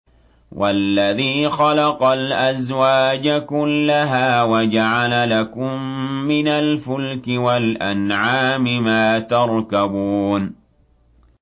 وَالَّذِي خَلَقَ الْأَزْوَاجَ كُلَّهَا وَجَعَلَ لَكُم مِّنَ الْفُلْكِ وَالْأَنْعَامِ مَا تَرْكَبُونَ